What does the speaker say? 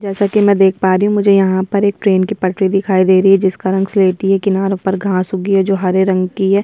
जैसा की मैं देख पा रही हूँ मुझे यहाँ पर एक ट्रैन की पटरी दिखाई दे रही है जिसक रंग किनारों पर घास उगी है जो हरे रंग की है।